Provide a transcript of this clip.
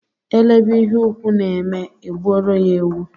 Elebe ihe ukwù na-eme e gbuoro ya ewu.